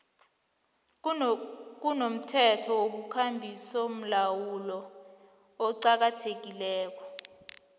kunomthetho wekambisolawulo oqakathekileko